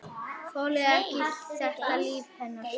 Þoli ekki þetta líf hérna.